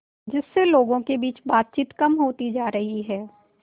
जिससे लोगों के बीच बातचीत कम होती जा रही है